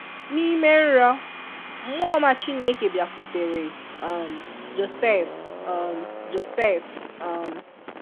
N'ime nrọ, mmụọ ọma Chineke bịakwutere um Josef um Josef um